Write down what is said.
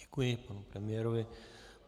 Děkuji panu premiérovi.